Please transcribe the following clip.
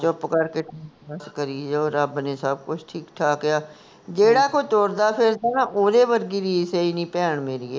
ਚੁੱਪ ਕਰਕੇ ਬਸ ਕਰੀ ਜਾਓ, ਰੱਬ ਨੇ ਸਭ ਕੁਝ ਠੀਕ ਠਾਕ ਆ, ਜਿਹੜਾ ਕੋਈ ਤੁਰਦਾ ਫਿਰਦਾ ਨਾ, ਓਹਦੇ ਵਰਗੀ ਕੋਈ ਰੀਸ ਐ ਨੀ ਭੈਣ ਮੇਰੀਏ